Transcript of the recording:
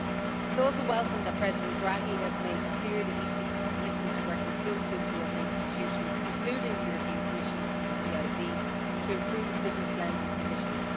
It is also welcome that President Draghi has made clear the ECB's commitment to working closely with the other institutions, including the European Commission and the EIB, to improve business lending conditions.